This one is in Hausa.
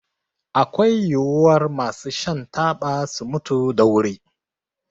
Akwai yiwuwar masu shan taba su mutu da wuri